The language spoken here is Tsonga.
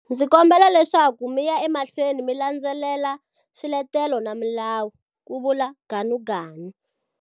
Ndzi kombela leswaku mi ya emahlweni mi landzelela swiletelo na milawu, ku vula Ganuganu.